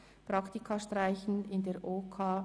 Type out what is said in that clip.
Praktika streichen in der OKJA».